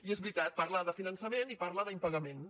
i és veritat parla de finançament i parla d’impagaments